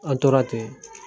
An tora ten.